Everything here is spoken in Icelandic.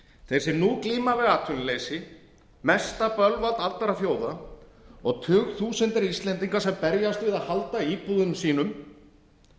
þeir sem nú glíma við atvinnuleysi mesta bölvald allra þjóða og tugþúsundir íslendinga sem berjast við að halda íbúðunum sínum